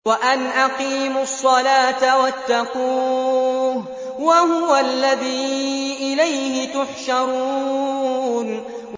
وَأَنْ أَقِيمُوا الصَّلَاةَ وَاتَّقُوهُ ۚ وَهُوَ الَّذِي إِلَيْهِ تُحْشَرُونَ